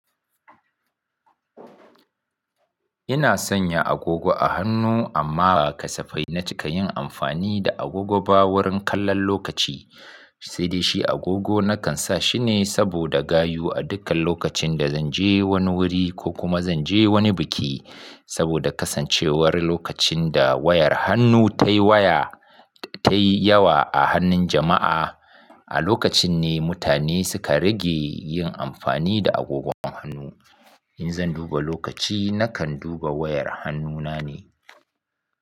Ina sanya agogo a hannu amma ba kasafai na cika yin amfani da agogo ba wurin kallon lokaci. Sai dai shi agogo na kan sa shine saboda gayu a dukkan lokacin da zan je wani wuri ko kuma zan je wani biki. Saboda kasancewar lokacin da wayar hannu ta yi waya ta yi yawa a hannun jama'a, a lokacin ne mutane suka rage yin amfani da agogon hannu. In zan duba lokaci, na kan duba wayar hannuna ne.